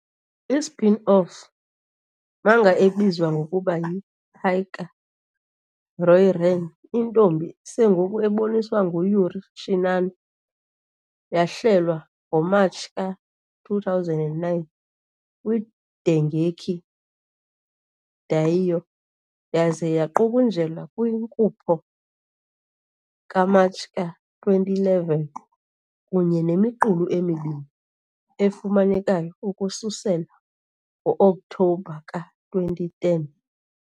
I-spin-off manga ebizwa ngokuba yi -Hyakka Ryōran- Iintombi Sengoku, eboniswa ngu-Yuri Shinano, yahlelwa ngoMatshi ka-2009 kwi-Dengeki Daioh yaze yaqukunjelwa kwinkupho kaMatshi ka-2011, kunye nemiqulu emibini efumanekayo ukususela ngo-Oktobha ka-2010.